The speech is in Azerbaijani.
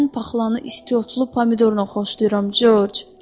Mən paxlanı isti otlu pomidorla xoşlayıram, George.